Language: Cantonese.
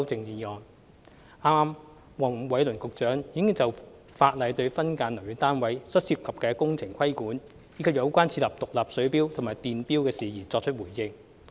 剛才黃偉綸局長已就現行法例對分間樓宇單位所涉工程的規管，以及有關設立獨立水錶和電錶的事宜作回應。